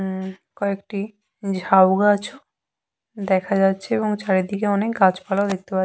আম্ম কয়েকটি ঝাউগাছ দেখা যাচ্ছে এবং চারিদিকে অনেক গাছপালা ও দেখতে পাচ্ছি--